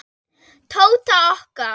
Tóta okkar.